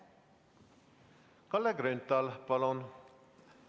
Kalle Grünthal, palun!